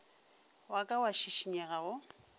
wa ka wa šikinyega go